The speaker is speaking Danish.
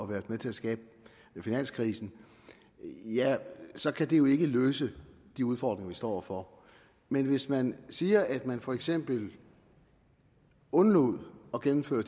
været med til at skabe finanskrisen ja så kan det jo ikke løse de ufordringer vi står over for men hvis man siger at man for eksempel vil undlade at gennemføre